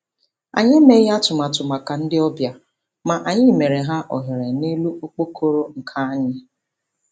Anyi emeghị atụmatụ maka ndị obịa, ma anyị meere ha ohere n'elu okpokoro nka anyị